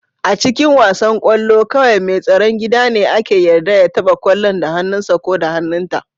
A cikin wasan kwallo, kawai mai tsaron gida ne ake yarda ya taba kwallon da hannunsa ko hannunta.